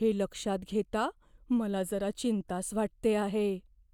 हे लक्षात घेता मला जरा चिंताच वाटते आहे.